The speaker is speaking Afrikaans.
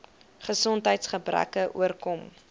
gesondheids gebreke oorkom